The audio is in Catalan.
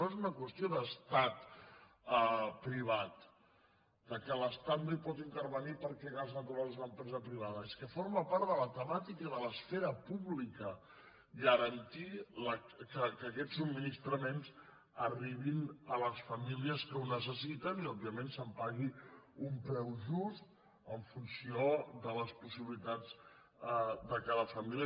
no és una qüestió d’estat privat que l’estat no hi pot intervenir perquè gas natural és una empresa privada és que forma part de la temàtica de l’esfera pública garantir que aquests subministraments arribin a les famílies que ho necessiten i òbviament se’n pagui un preu just en funció de les possibilitats de cada família